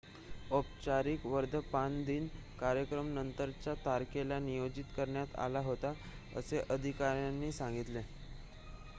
औपचारिक वर्धापनदिन कार्यक्रम नंतरच्या तारखेला नियोजित करण्यात आला होता असे अधिकाऱ्यांनी सांगितले